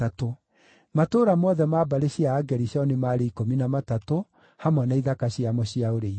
Matũũra mothe ma mbarĩ cia Agerishoni maarĩ ikũmi na matatũ hamwe na ithaka ciamo cia ũrĩithio.